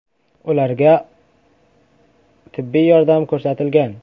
Ularga tibbiy yordam ko‘rsatilgan.